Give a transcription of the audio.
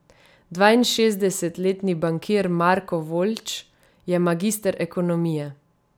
Dvainšestdesetletni bankir Marko Voljč je magister ekonomije.